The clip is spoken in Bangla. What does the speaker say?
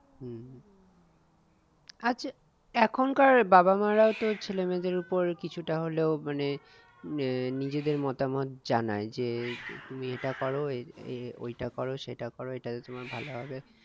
আচ্ছা এখনকার বাবা মা রাও তো ছেলে মেয়েদের ওপর কিছুটা হলেও মানে আহ নিজেদের মতামত জানায় যে তুমি এটা করো ওইটা করো সেটা করো এটাতে তোমার ভালো হবে